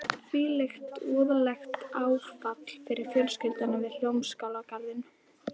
Hvílíkt voðalegt áfall fyrir fjölskylduna við Hljómskálagarðinn.